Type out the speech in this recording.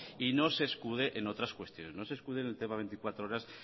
y no se escude en otras cuestiones no se escude en el tema veinticuatro horas